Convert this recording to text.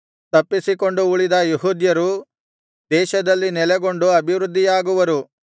ತಪ್ಪಿಸಿಕೊಂಡು ಉಳಿದ ಯೆಹೂದ್ಯರು ದೇಶದಲ್ಲಿ ನೆಲೆಗೊಂಡು ಅಭಿವೃದ್ದಿಯಾಗುವರು